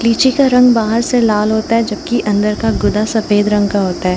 लीची का रंग बाहर से लाल होता हैजो की अंदर का गुदा सफेद रंग का होता है।